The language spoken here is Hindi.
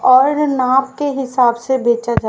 और नाप के हिसाब से बेचा जाए।